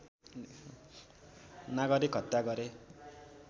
नागरिक हत्या गरे